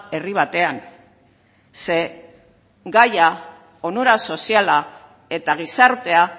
herri batean ze gaia onura soziala eta gizartea